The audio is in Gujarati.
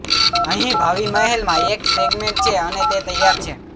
અહીં ભાવિ મહેલમાં એક સેગમેન્ટ છે અને તે તૈયાર છે